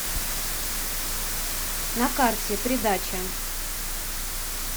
на карте придача